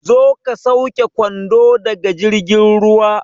Zo ka sauke kwando daga jirgin ruwa